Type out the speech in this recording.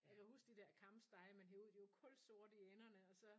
Jeg kan huske de der kamstege man hev ud de var kulsorte i enderne og så